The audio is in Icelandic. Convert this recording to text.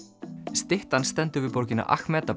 styttan stendur við borgina